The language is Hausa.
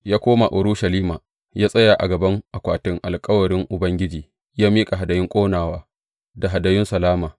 Ya koma Urushalima, ya tsaya a gaban akwatin alkawarin Ubangiji ya miƙa hadayun ƙonawa da hadayun salama.